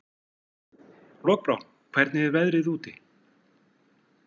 Lokbrá, hvernig er veðrið úti?